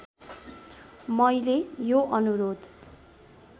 मैले यो अनुरोध